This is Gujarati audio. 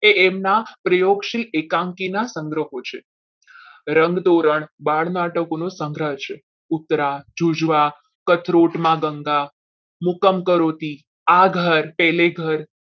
એ એમના પ્રયોગશ્રીના એકાંકીના સંદર્ભો છે રંગ ધોરણ બાર નાટકોનો સંગ્રહ છે ઉતવા યોજવા કથરોટમાં ગંગા મુકમ કરોતિ આ ઘર પેલે ઘર